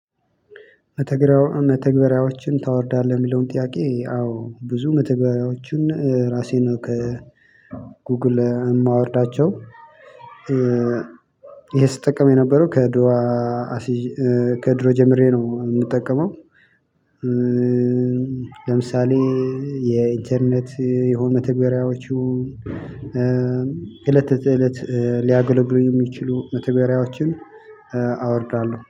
መተግበሪያዎችን ታወርዳለህ የሚለውን ጥያቄ አዎ ብዙ መተግበሪያዎችን ራሴን ነው ከ ጉግል የማወርዳቸው። ይሄ ስጠቀም የነበረው ከድሮ ከድሮ ጀምሬ ነው የምጠቀመው። ለምሳሌ የኢንተርኔት የሆነ መተገሪያዎቹ። እለት ተእለት ሊያገለግሉኝ የሚችሉ መተግበሪያዎችን አወርዳለሁ